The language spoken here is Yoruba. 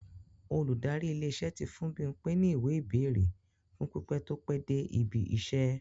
Olùdarí ilé-iṣẹ́ tí fún Bímpe ní ìwé-ìbẹ́ẹ̀rè fún pípẹ́ tó pẹ́ dé ibi-iṣẹ́.